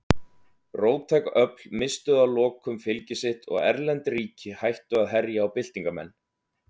Róttæk öfl misstu að lokum fylgi sitt og erlend ríki hættu að herja á byltingarmenn.